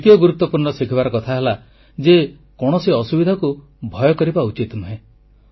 ଦ୍ୱିତୀୟ ଗୁରୁତ୍ୱପୂର୍ଣ୍ଣ ଶିଖିବାର କଥା ହେଲା ଯେ କୌଣସି ଅସୁବିଧାକୁ ଭୟ କରିବା ଉଚିତ ନୁହେଁ